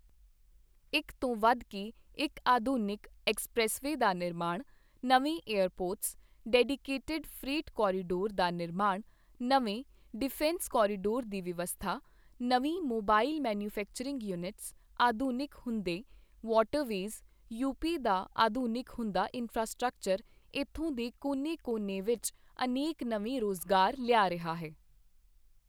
ਇੱਕ ਤੋਂ ਵਧ ਕੇ ਇੱਕ ਆਧੁਨਿਕ ਐਕਸਪ੍ਰੈੱਸਵੇਅ ਦਾ ਨਿਰਮਾਣ, ਨਵੇਂ ਏਅਰਪੋਰਟਸ, ਡੈਡੀਕੇਟਿਡ ਫ੍ਰੇਟ ਕੋਰੀਡੋਰ ਦਾ ਨਿਰਮਾਣ, ਨਵੇਂ ਡਿਫੈਂਸ ਕੋਰੀਡੋਰ ਦੀ ਵਿਵਸਥਾ, ਨਵੀਂ ਮੋਬਾਈਲ ਮੈਨੂਫੈਕਚਰਿੰਗ ਯੂਨਿਟਸ, ਆਧੁਨਿਕ ਹੁੰਦੇ ਵਾਟਰਵੇਜ, ਯੂ ਪੀ ਦਾ ਆਧੁਨਿਕ ਹੁੰਦਾ ਇੰਫ੍ਰਾਸਟ੍ਰਕਚਰ ਇੱਥੋਂ ਦੇ ਕੋਨੇ ਕੋਨੇ ਵਿੱਚ ਅਨੇਕ ਨਵੇਂ ਰੋਜ਼ਗਾਰ ਲਿਆ ਰਿਹਾ ਹੈ।